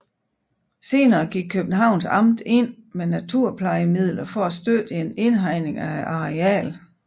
Senere gik Københavns Amt ind med naturplejemidler for at støtte en indhegning af arealet